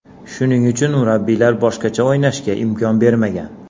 Shuning uchun, murabbiylar boshqacha o‘ynashga imkon bermagan.